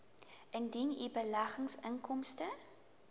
indien u beleggingsinkomste